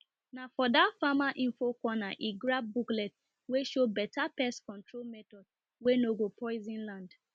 na for that farmer info corner he grab booklet wey show better pest control method wey no go poison land